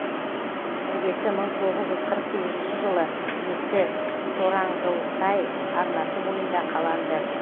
іргесі мың тоғыз жүз қырық сегізінші жылы ескі тораңғылсай арнасы бойында қаланды